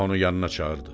onu yanına çağırdı.